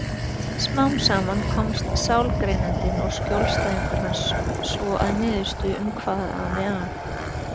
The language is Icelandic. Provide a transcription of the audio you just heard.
Smám saman komast sálgreinandinn og skjólstæðingur hans svo að niðurstöðu um hvað ami að.